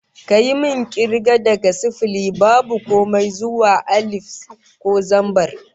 Kayi min kirga daga sifili (babu komai) zuwa alif (ko zambar)